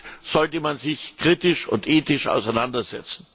Auch damit sollte man sich kritisch und ethisch auseinandersetzen.